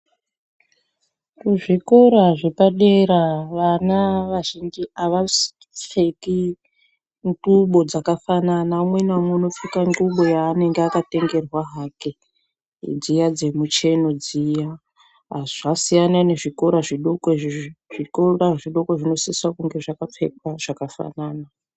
Kuzvikora zvepadera vana vazhinji avapfeki ndxubo dzakafanana umwe naumwe unopfeka ndxubo yaanenge akatengerwa hake dziya dzemucheno dziya zvasiyana nezvikora zvidoko zvikora zvidoko zvinosisa kunge zvakapfeka zvakafanana.